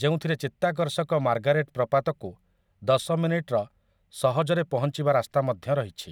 ଯେଉଁଥିରେ ଚିତ୍ତାକର୍ଷକ ମାର୍ଗାରେଟ୍ ପ୍ରପାତକୁ ଦଶ ମିନିଟର ସହଜରେ ପହଞ୍ଚିବା ରାସ୍ତା ମଧ୍ୟ ରହିଛି ।